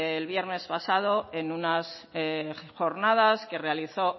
el viernes pasado en unas jornada que realizó